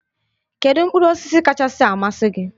Kedu mkpụrụ osisi kachasị amasị gị?